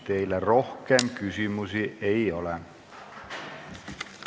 Teile rohkem küsimusi ei ole.